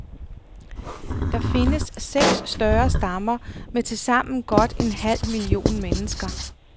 Der findes seks større stammer med tilsammen godt en halv million mennesker.